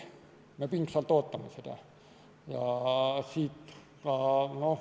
Me pingsalt ootame seda.